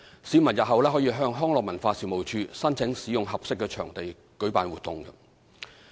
市民日後可向康樂及文化事務署申請使用合適場地舉辦活動。